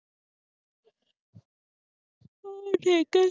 ਹੋਰ ਠੀਕ ਹੈ